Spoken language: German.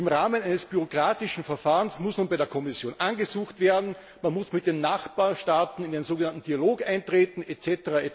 Im Rahmen eines bürokratischen Verfahrens muss nun bei der Kommission angesucht werden, man muss mit den Nachbarstaaten in den sogenannten Dialog eintreten etc..